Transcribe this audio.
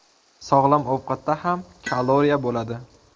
Sog‘lom ovqatda ham kaloriya bo‘ladi.